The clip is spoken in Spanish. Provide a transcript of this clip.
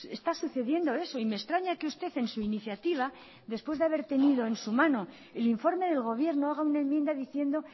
está sucediendo eso y me extraña que usted en su iniciativa después de haber tenido en su mano el informe del gobierno haga una enmienda diciendo